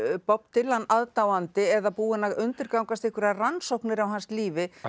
Bob Dylan aðdáandi eða búinn að undirgangast einhverjar rannsóknir á hans lífi